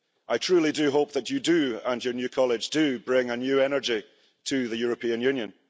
I truly do hope that you and your new College do bring a new energy to the European Union.